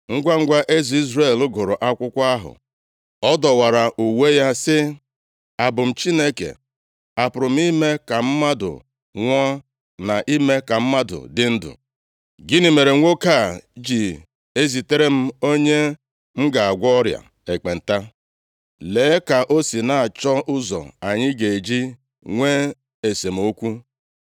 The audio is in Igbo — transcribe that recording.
Ngwangwa eze Izrel gụrụ akwụkwọ ahụ, ọ dọwara uwe ya sị, “Abụ m Chineke? A pụrụ m ime ka mmadụ nwụọ na ime ka mmadụ dị ndụ? Gịnị mere nwoke a ji ezitere m onye m ga-agwọ ọrịa ekpenta? Lee ka o si na-achọ ụzọ anyị ga-eji nwee esemokwu.”